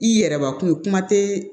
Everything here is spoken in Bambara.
I yɛrɛbakun ye kuma tɛ